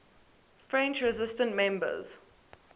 french resistance members